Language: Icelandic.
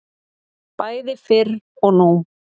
Bæði fyrr og nú.